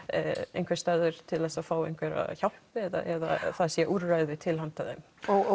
einhvers staðar til að fá hjálp eða það séu úrræði til hyanda þeim